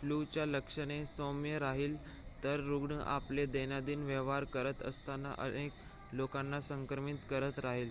फ्लूची लक्षणे सौम्य राहिली तर रुग्ण आपले दैनंदिन व्यवहार करत असताना अनेक लोकांना संक्रमित करत राहतील